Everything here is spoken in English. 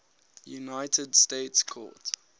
united states court